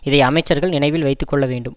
இதை அமைச்சர்கள் நினைவில் வைத்து கொள்ள வேண்டும்